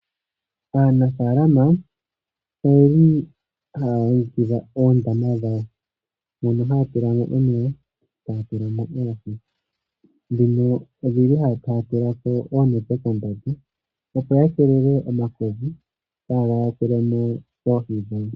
Aanafalama oye li haya longekidha oondama dhawo mono haya tula mo omeya, taya tula mo oohi, ndhono oshindji haya kala taya tula ko oonete kombanda, opo ya keelele omakodhi kaaga yakule mo oohi dhawo.